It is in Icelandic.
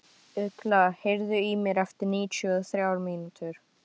Ugla, heyrðu í mér eftir níutíu og þrjár mínútur.